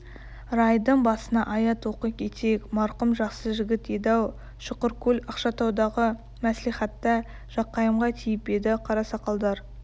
райдың басына аят оқи кетейік марқұм жақсы жігіт еді-ау шұқыркөл ақшатаудағы мәслихатта жақайымға тиіп еді қарасақалдар